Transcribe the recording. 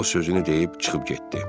O sözünü deyib çıxıb getdi.